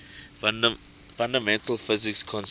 fundamental physics concepts